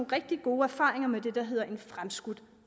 rigtig gode erfaringer med det der hedder en fremskudt